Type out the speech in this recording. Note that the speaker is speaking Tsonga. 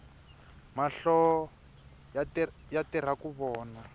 mahlo yatirhaku vona